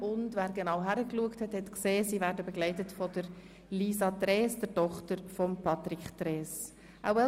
Und wer genau hingesehen hat, wird festgestellt haben, dass sie von Frau Lisa Trees, der Tochter unseres Generalsekretärs Patrick Trees, begleitet werden.